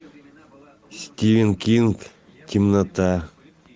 стивен кинг темнота